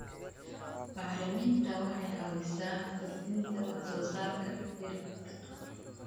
Bacriminta waxay caawisaa kordhinta wax soo saarka digirta.